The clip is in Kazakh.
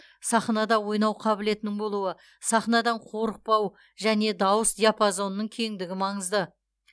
сахнада ойнау қабілетінің болуы сахнадан қорықпау және дауыс диапазонының кеңдігі маңызды